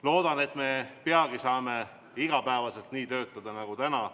Loodan, et peagi saame iga päev töötada nii nagu täna.